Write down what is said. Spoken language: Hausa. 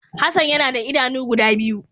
Hassan ya na da idanu guda biyu.